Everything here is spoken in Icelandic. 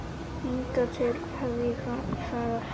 Hingað til hef ég þagað.